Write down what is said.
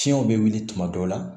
Fiɲɛw be wuli tuma dɔw la